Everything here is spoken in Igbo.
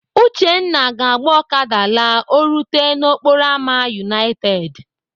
Uchenna ga-agba Okada la o rute n'okporo ámá United.